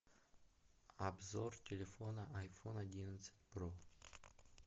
обзор телефона айфон одиннадцать про